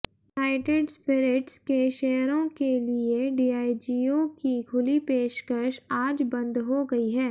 United Spirits के शेयरों के लिए डियाजिओ की खुली पेशकश आज बंद हो गई है